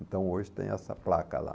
Então hoje tem essa placa lá.